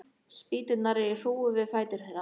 Spýturnar eru í hrúgu við fætur þeirra.